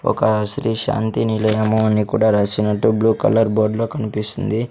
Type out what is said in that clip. ఒక శ్రీ శాంతి నిలయము అని కూడా రాసినట్టు బ్లూ కలర్ బోర్డ్ లో కనిపిస్తుంది.